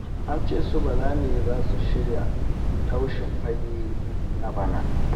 An ce su Bala ne za su shirya taushen fage na bana